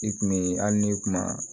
I kun bee hali ni kuma